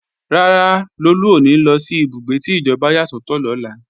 Rárá, Lolú ò ní lọ sí ìbúgbé tí ìjọba yà sọ́tọ̀ lọ́la